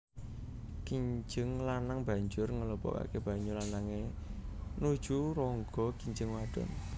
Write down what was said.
Kinjeng lanang banjur nglebokaké banyu lanangé nuju rongga kinjeng wadon